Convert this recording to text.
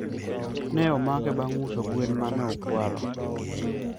ne omake bang uso gwen mane okwalo